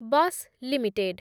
Bash limited